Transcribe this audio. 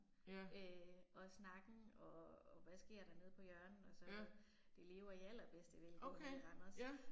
Øh og snakken og og hvad sker der nede på hjørnet og sådan noget. Det lever i allerbedste velgående i Randers